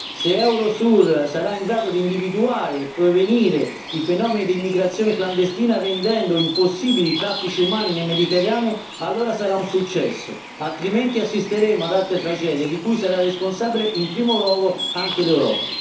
Se Eurosur sarà in grado di individuare e prevenire i fenomeni di immigrazione clandestina rendendo impossibili i traffici umani nel Mediterraneo, allora sarà un successo, altrimenti assisteremo ad altre tragedie di cui sarà responsabile in primo luogo anche l'Europa